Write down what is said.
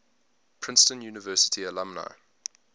princeton university alumni